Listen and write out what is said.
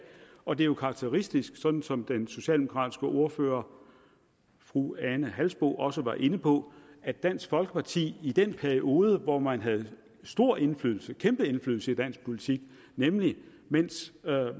og det er jo karakteristisk sådan som den socialdemokratiske ordfører fru ane halsboe jørgensen også var inde på at dansk folkeparti i den periode hvor man havde stor indflydelse kæmpe indflydelse i dansk politik nemlig mens